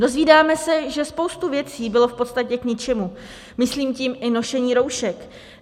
Dozvídáme se, že spousta věcí byla v podstatě k ničemu, myslím tím i nošení roušek.